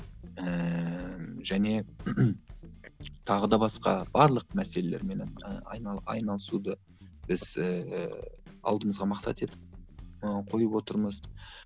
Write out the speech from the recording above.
ііі және тағы да басқа барлық мәселелерменен і айналысуды біз ііі алдымызға мақсат етіп ы қойып отырмыз